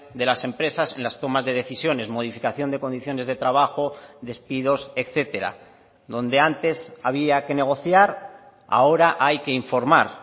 de las empresas en las tomas de decisiones modificación de condiciones de trabajo despidos etcétera donde antes había que negociar ahora hay que informar